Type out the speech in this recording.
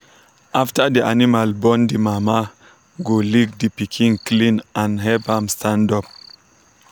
after the animal born the mama go lick the pikin clean and help am stand up.